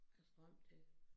Strøm til